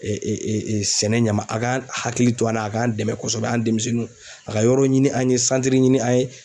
sɛnɛ ɲama a ka hakili to an na a k'an dɛmɛ kosɛbɛ an' demisɛnninw a ka yɔrɔ ɲini an' ye santiri ɲini an' ye